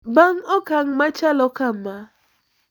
Bang` okang` machalo kama,